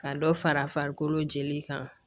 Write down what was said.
Ka dɔ fara farikolo jeli kan